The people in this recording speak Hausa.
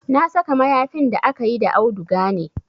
Na saka mayafin da akayi da auduga ne